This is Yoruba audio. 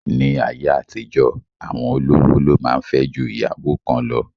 Ní ayé àtijọ́, àwọn olówó lo máa ń fẹ́ ju ìyàwó kan lọ